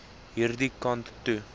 hierdie kant toe